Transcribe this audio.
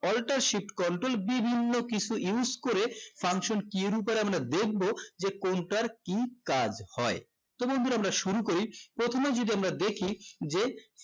alter shift control বিভিন্ন কিছু use করে function key এর উপর আমরা দেখবো যে কোনটার কি কাজ হয় তো বন্ধুরা আমরা শুরু করি প্রথমে যদি আমরা দেখি যে